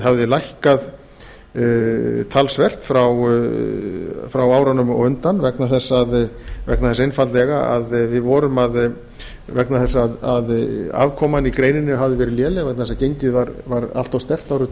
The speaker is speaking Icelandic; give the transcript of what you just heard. hafði lækkað talsvert frá árunum á undan vegna þess einfaldlega að við vorum að vegna þess að afkoman í greininni hafði verið léleg vegna þess að gengið var allt of sterkt árið tvö